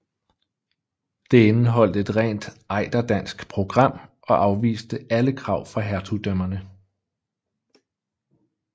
Det indeholdte et rent ejderdansk program og afviste alle krav fra hertugdømmerne